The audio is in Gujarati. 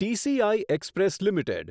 TCI express limited